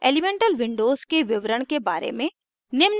elemental windows के विवरण के बारे में